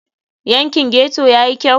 Yankin ghetto ya yi kyau?